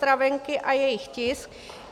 Stravenky a jejich tisk.